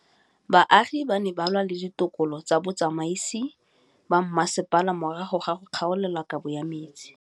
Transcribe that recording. Baagi ba ne ba lwa le ditokolo tsa botsamaisi ba mmasepala morago ga go gaolelwa kabo metsi